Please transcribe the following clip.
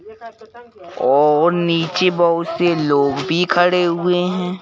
और नीचे बहुत से लोग भी खड़े हुए हैं।